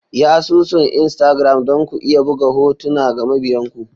Yi asusun Instagram don ku iya buga hotuna ga mabiyan ku.